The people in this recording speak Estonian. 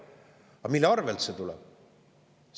Aga mille arvel see tuleb?